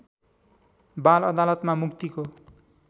बाल अदालतमा मुक्तिको